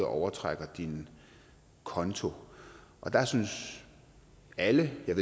overtrækker din konto der synes alle jeg